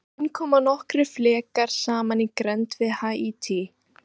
Í raun koma nokkrir flekar saman í grennd við Haítí.